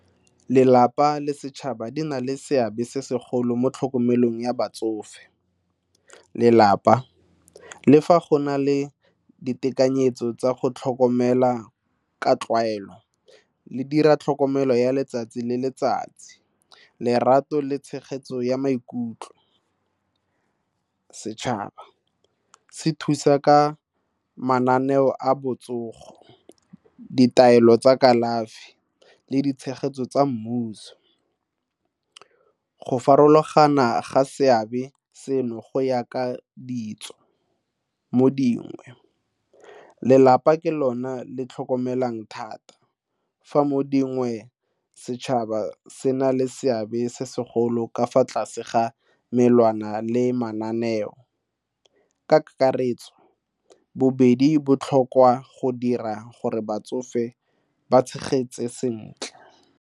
Lelapa le setšhaba di na le seabe se segolo mo tlhokomelong ya batsofe. Lelapa, le fa go na le ditekanyetso tsa go tlhokomela ka tlwaelo le dira tlhokomelo ya letsatsi le letsatsi lerato le tshegetso ya maikutlo. Setšhaba, se thusa ka mananeo a botsogo, ditaelo tsa kalafi le ditshegetso tsa mmuso. Go farologana ga seabe seno go ya ka ditso mo dingwe lelapa ke lone le tlhokomelang thata fa mo dingwe, setšhaba se na le seabe se segolo ka fa tlase ga melawana le mananeo. Ka kakaretso bobedi botlhokwa go dira gore batsofe ba tshegetse sentle.